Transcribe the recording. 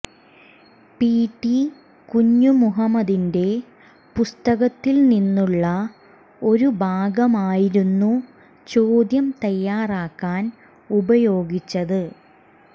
P T കുഞ്ഞുമുഹമ്മദിന്റെ പുസ്തകത്തിൽനിന്നുള്ള ഒരു ഭാഗമായിരുന്നു ചോദ്യം തയ്യാറാക്കാൻ ഉപയോഗിച്ചത്